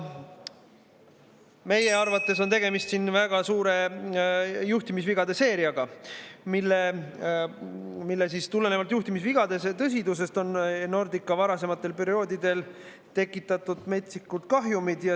Meie arvates on tegemist väga tõsiste juhtimisvigade seeriaga, millest tulenevad Nordica varasematel perioodidel tekitatud metsikud kahjumid.